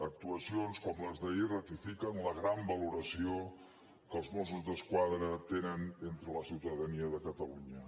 actuacions com les d’ahir ratifiquen la gran valoració que els mossos d’esquadra tenen entre la ciutadania de catalunya